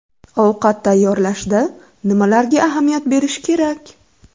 Ovqat tayyorlashda nimalarga ahamiyat berish kerak?